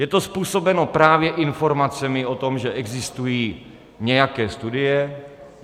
Je to způsobeno právě informacemi o tom, že existují nějaké studie.